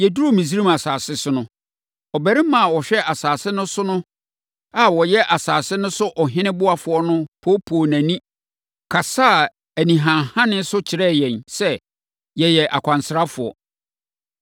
“Yɛduruu Misraim asase so no, ɔbarima a ɔhwɛ asase no so no a ɔyɛ asase no so ɔhene ɔboafoɔ no poopoo nʼani, kasaa anihanehane so kyerɛɛ yɛn sɛ, yɛyɛ akwansrafoɔ.